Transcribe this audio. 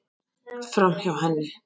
Framhjá henni.